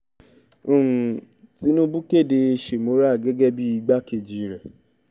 um tinúbú kéde shemora gẹ́gẹ́ bíi igbákejì rẹ̀